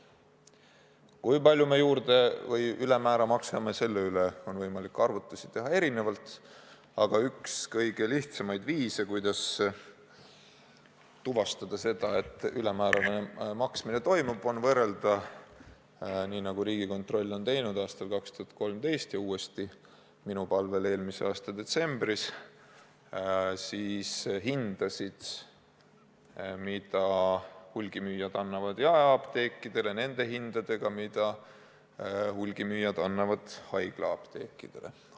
Kui palju me juurde või ülemäära maksame, selle kohta on võimalik arvutusi teha erinevalt, aga üks kõige lihtsamaid viise, kuidas tuvastada seda, et ülemäärane maksmine toimub, on võrrelda – nii nagu Riigikontroll on teinud aastal 2013 ja uuesti minu palvel eelmise aasta detsembris – hindasid, mida hulgimüüjad võimaldavad jaeapteekidele, nende hindadega, millega hulgimüüjad müüvad haiglaapteekidele.